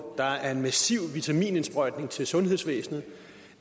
der er en massiv vitaminindsprøjtning til sundhedsvæsenet og